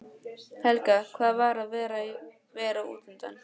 Helga: Hvað er að vera útundan?